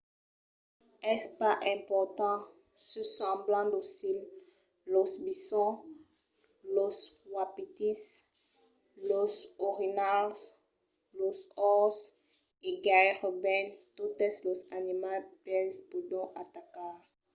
es pas important se semblan docils los bisonts los wapitis los orinhals los orses e gaireben totes los animals bèls pòdon atacar